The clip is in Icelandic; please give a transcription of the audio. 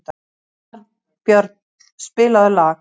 Arnbjörn, spilaðu lag.